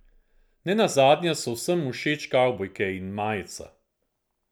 Ne nazadnje so vsem všeč kavbojke in majica.